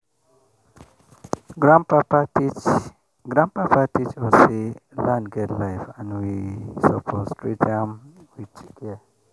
grandpapa teach grandpapa teach us say land get life and we suppose treat am with care.